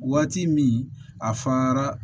Waati min a fara